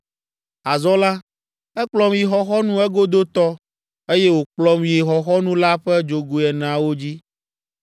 Azɔ la, ekplɔm yi xɔxɔnu egodotɔ, eye wòkplɔm yi xɔxɔnu la ƒe dzogoe eneawo dzi.